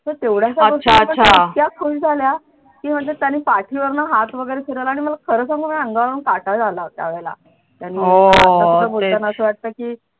तर तेवढ्या गोष्टीने त्या इतक्या खुश झाल्या की माझ्या त्यांनी पाठीवरुन हात वगैरे फिरवला आणि मला खरं सांगू अंगावर काटा आला होता त्यावेळेला असं वाटत की